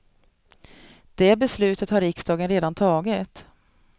Det beslutet har riksdagen redan tagit.